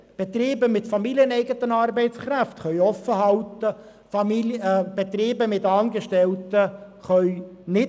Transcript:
Betriebe mit familieneigenen Arbeitskräften können öffnen, Betriebe mit Angestellten nicht.